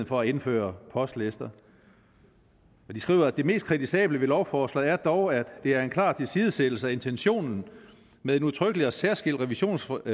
for at indføre postlister de skriver at det mest kritisable ved lovforslaget dog er at det er en klar tilsidesættelse af intentionen med en udtrykkelig og særskilt revisionsfrist